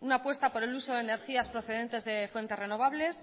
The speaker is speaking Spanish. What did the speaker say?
una apuesta por el uso de energías procedentes de fuentes renovables